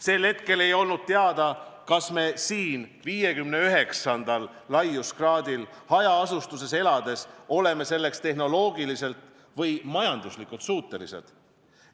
Sel hetkel ei olnud teada, kas me siin, 59. laiuskraadil hajaasustuses elades oleme selleks tehnoloogiliselt või majanduslikult suutelised.